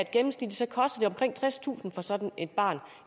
gennemsnitligt koster omkring tredstusind kroner for sådan et barn